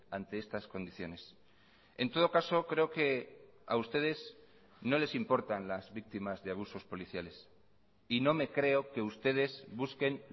ante estas condiciones en todo caso creo que a ustedes no les importan las víctimas de abusos policiales y no me creo que ustedes busquen